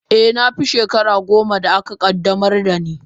Eh, na fi shekara goma da aka qaddamar da ni.